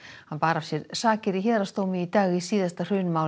hann bar af sér sakir í héraðsdómi í dag í síðasta